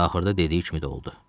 Axırda dediyi kimi də oldu.